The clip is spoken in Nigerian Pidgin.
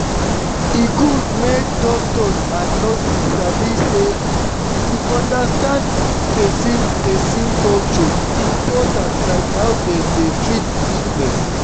e good make doctors and nurses sabi say to understand person person culture important like how dem dey treat sickness.